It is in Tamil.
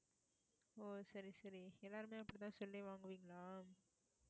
ஓ சரி சரி எல்லாருமே அப்படித்தான் சொல்லி வாங்குவீங்களா